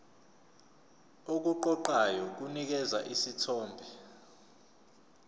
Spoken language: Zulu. okuqoqayo kunikeza isithombe